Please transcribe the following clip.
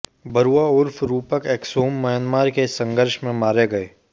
बरुआ उर्फ रूपक एक्सोम म्यांमार के इस संघर्ष में मारे गए